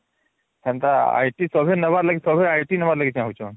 ସେନ୍ତା IT ନବାର ଲାଗି ତମେ ITନବାର ଲାଗି ଚାହୁଞ୍ଚନ